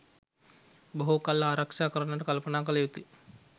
බොහෝ කල් ආරක්‍ෂා කරන්ට කල්පනා කළ යුතුයි.